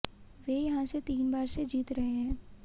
वे यहां से तीन बार से जीत रहे हैं